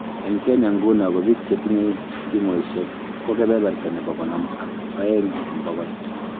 Eng Kenya nguno ko biik che tinyei simoishek ko kebeberta nebo konom ak oeng eng bokol